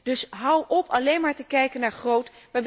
Dus hou op alleen maar te kijken naar 'groot'.